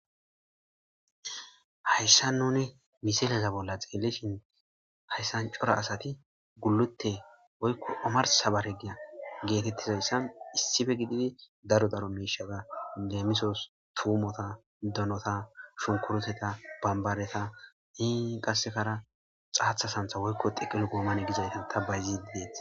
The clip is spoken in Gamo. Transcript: hayssa nuni miseleza bolla xeelishin hayssan cora asati gullute woykko omarsa baregiya geetettizayssan issife gididi daro daro mishaga leemisos tuumota donota shunkuroteta bambadeta hinqasekara xaathasantha woykko xiqel goomane gizaytan ta bayziidees